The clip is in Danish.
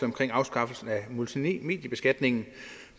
omkring afskaffelsen af multimediebeskatningen